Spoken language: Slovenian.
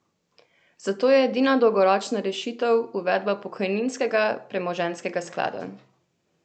Zato je edina dolgoročna rešitev uvedba pokojninskega premoženjskega sklada.